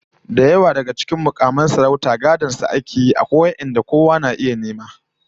Da dama daga cikin mukamai da sarautu gadon su ake yi, amma akwai wadanda kowa ya iya nema ko samu